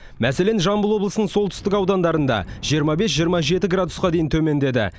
мәселен жамбыл облысының солтүстік аудандарында жиырма бес жиырма жеті градусқа дейін төмендеді